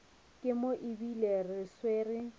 ke mo ebile re swere